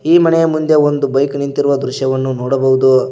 ಈ ಮನೆಯ ಮುಂದೆ ಒಂದು ಬೈಕ್ ನಿಂತಿರುವ ದೃಶ್ಯವನ್ನು ನೋಡಬಹುದು.